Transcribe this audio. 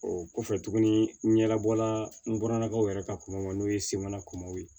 O kɔfɛ tuguni n yɛrɛ bɔla n bɔralakaw yɛrɛ ka kɔmɔ n'o ye semana kumamaw ye